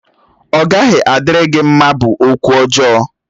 Ọ gaghị adịrị gị mma! bụ okwụ ọjọọ.